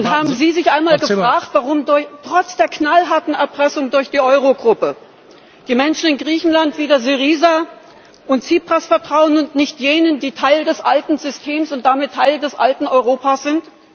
Haben Sie sich einmal gefragt, warum trotz der knallharten Erpressung durch die Eurogruppe die Menschen in Griechenland wieder Syriza und Tsipras vertrauen und nicht jenen, die Teil des alten Systems und damit Teil des alten Europas sind?